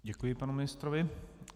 Děkuji panu ministrovi.